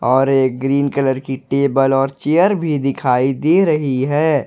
और एक green colour की टेबल और चेयर भी दिखाई दे रही है।